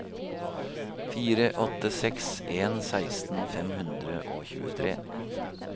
fire åtte seks en seksten fem hundre og tjuetre